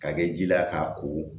Ka kɛ ji la k'a ko